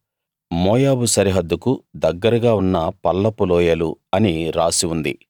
మోయాబు సరిహద్దుకు దగ్గరగా ఉన్న పల్లపు లోయలు అని రాసి ఉంది